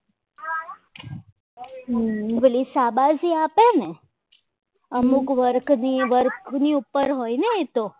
પહેરી સાબાસી આપે ને આ અમુક વર્કની work ઉપર હોય ને એ તો